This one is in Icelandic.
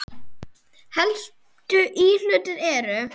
Helstu íhlutir eru